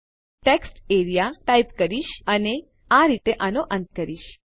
તો હું textarea type કરીશ અને આ રીતે આનો અંત કરીશ